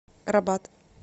рабат